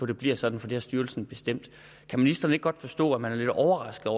det bliver sådan for det har styrelsen bestemt kan ministeren ikke godt forstå at man er lidt overrasket